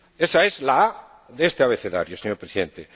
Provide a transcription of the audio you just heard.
Ésa es la a de este abecedario, señor Presidente.